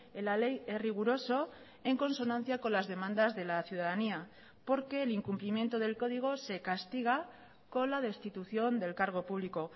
en la ley es riguroso en consonancia con las demandas de la ciudadanía porque el incumplimiento del código se castiga con la destitución del cargo público